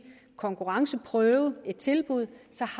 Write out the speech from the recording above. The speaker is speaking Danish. konkurrenceprøve et tilbud så